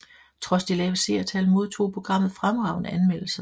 Trods de lave seertal modtog programmet fremragende anmeldelser